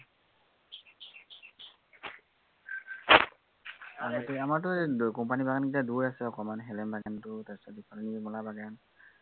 এৰ মানে কি, আমাৰটো company ৰ বাগানকেইটা দূৰ আছে অকনমান, হেলেম বাগানটো তাৰপিছত তোৰ নিৰ্মালা বাাগান